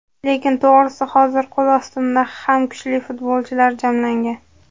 Lekin to‘g‘risi hozir qo‘l ostimda ham kuchli futbolchilar jamlangan.